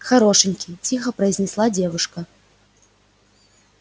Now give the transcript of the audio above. хорошенький тихо произнесла девушка